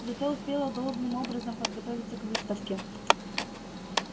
зато успела должным образом подготовиться к выставке